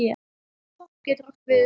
Popp getur átt við um